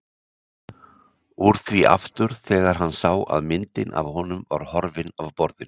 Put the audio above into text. Úr því aftur þegar hann sá að myndin af honum var horfin af borðinu.